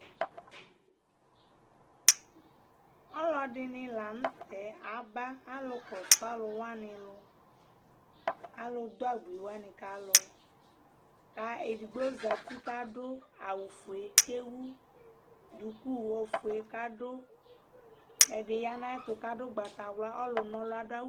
ɔluɛɗiɲi lɑɲutɛ ɑbɑ ɑlωkõsuɑlω wɑɲilω ɑlωɖu ɑbωiwɑɲ ƙɑlω kɑ ɛɖigbo zɑti kɑɖu ɑwωfωɛ kɛwuɗωkω fuɛ kɑɖω ɛɖiyɑŋɑƴɛtω kɑɖω ωkpɑtɑwlɑ ɔlωŋɔlu ɑɖuɑwω